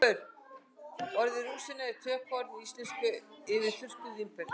orðið rúsína er tökuorð í íslensku yfir þurrkuð vínber